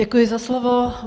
Děkuji za slovo.